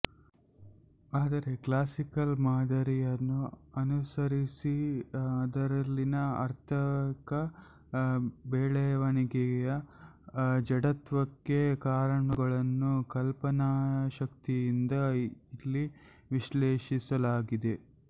ಆದರೆ ಕ್ಲಾಸಿಕಲ್ ಮಾದರಿಯನ್ನು ಅನುಸರಿಸಿ ಅದರಲ್ಲಿನ ಆರ್ಥಿಕ ಬೆಳೆವಣಿಗೆಯ ಜಡತ್ವಕ್ಕೆ ಕಾರಣಗಳನ್ನು ಕಲ್ಪನಾಶಕ್ತಿಯಿಂದ ಇಲ್ಲಿ ವಿಶ್ಲೇಷಿಸಲಾಗಿದೆ